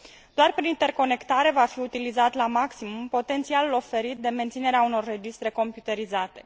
Doar prin interconectare va fi utilizat la maximum potențialul oferit de menținerea unor registre computerizate.